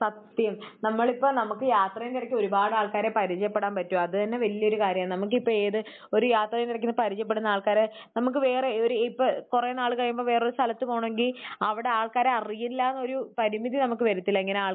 സത്യം. നമ്മൾ ഇപ്പോൾ നമുക്ക് യാത്രയുടെ ഇടക്ക് ഒരുപാട് ആൾക്കാരെ പരിചയപ്പെടാൻ പറ്റും. അത് തന്നെ വലിയൊരു കാര്യമാണ്. നമുക്കിപ്പോൾ ഏത് ഒരു യാത്രയുടെ ഇടക്ക് ഇങ്ങനെ പരിചയപ്പെടുന്ന ആൾക്കാരെ നമുക്ക് വേറെ ഒരു ഏഹ് ഇപ്പോൾ കുറേ നാൾ കഴിയുമ്പോൾ വേറെയൊരു സ്ഥലത്ത് പോകണമെങ്കിൽ അവിടെ ആൾക്കാരെ അറിയില്ല എന്നൊരു പരിമിതി നമുക്ക് വരത്തില്ല. ഇങ്ങനെ ആൾക്കാരെ